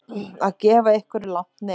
Að gefa einhverju langt nef